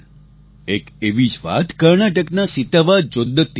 એક એવી જ વાત કર્ણાટકના સિતાવા જોદ્દ્તીની છે